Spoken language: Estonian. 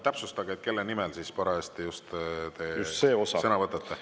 Täpsustage, kelle nimel te just parajasti sõna võtate.